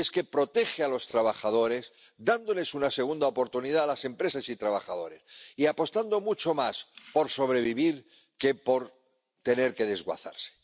Y es que protege a los trabajadores, dándoles una segunda oportunidad a las empresas y trabajadores, y apostando mucho más por sobrevivir que por tener que desguazarse.